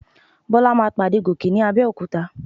Bọ́lá máa pàdé Gòkè ní Abẹ́òkúta.